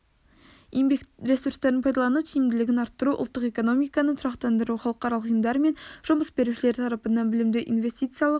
еңбек ресурстарын пайдалану тиімділігін арттыру ұлттық экономиканы тұрақтандыру халықаралық ұйымдар мен жұмыс берушілер тарапынан білімді инвестициялық